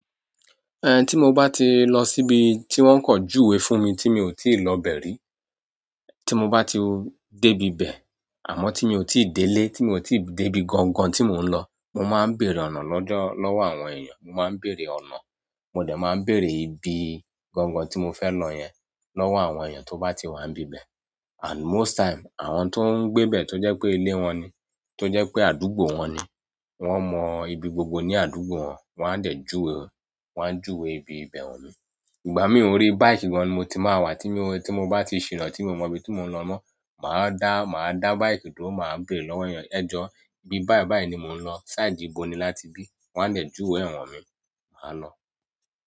Eh, tí mo bá ti lọ síbi tí wọ́n kan júwe fún mi tí mi ò tíì lọ bẹ̀ ri, tí mo bá ti dé ibi bẹ̀, àmọ́ tí mi ò tíì délé, tí mi ò tíì dé ibi gangan tí mò ń lọ, mo máa ń bèèrè ọ̀nà lọ́jọ́ lọ́wọ́ àwọn èèyàn, mo máa ń bèèrè ọ̀nà, mo dẹ̀ máa ń bèèrè ibi gangan tí mo fẹ́ lọ yẹn lọ́wọ́ àwọn èèyàn tó bá ti wà níbẹ̀. And most time, àwọn tó ń gbé bẹ̀ tó jẹ́ pé ilé wọn ni, tó jẹ́ pé àdúgbò wọn ni, wọ́n mọ ibi gbogbo ní àdúgbò wọn, wọ́n á dẹ̀ júwe, wọ́n á júwe ibi ìbẹ̀ han mi. Ìgbà mí ò rí bike gan ni mo ti máa wà, tí mo rí, tí mo bá ti ṣìràn, tí mo mọ ibi tí mò ń lọ ná, màá dá, màá dá bike tó máa béèrè lọ́wọ́ èèyàn. "Ẹ jọ, ibi báì báì ni mò ń lọ, side íbo ni láti bí?" Wọ́n á dẹ̀ júwe ẹ̀ han mi, mà á lọ.